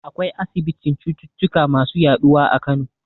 Akwai asibitin cututtuka masu yaɗuwa a Kano.